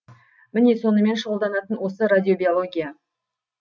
міне сонымен шұғылданатын осы радиобиология